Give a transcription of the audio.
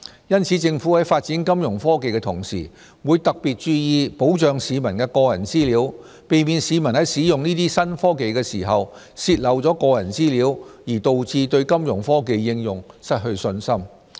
因此，政府在發展金融科技的同時，會特別注意保障市民的個人資料，避免市民在使用這些新科技的時候泄漏個人資料而導致對金融科技應用失去信心。